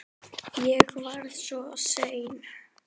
Ég var orðinn svo seinn.